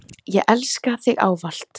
Ég elska þig ávallt.